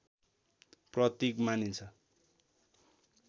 प्रतीक मानिन्छ